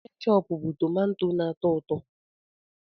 Kéchoopu bụ tómantó na-atọ ụtọ